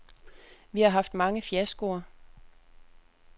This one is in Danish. Vi har haft mange fiaskoer.